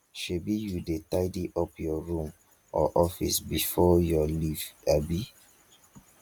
shebi you dey tidy up your room or office before your leave abi